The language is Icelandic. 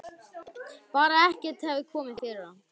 Bara að ekkert hefði komið fyrir hann.